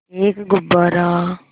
एक गुब्बारा